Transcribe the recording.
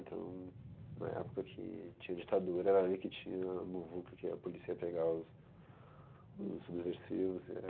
Então, na época que tinha ditadura, era ali que tinha a muvuca, que ia, a polícia ia pegar os subversivos.